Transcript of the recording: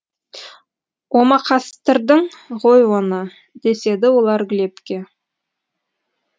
омақастырдың ғой оны деседі олар глебке